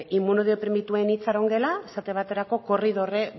inmunodeprimituen itxarongela esate baterako korridore